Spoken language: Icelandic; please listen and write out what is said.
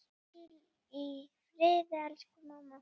Hvíl í friði elsku mamma.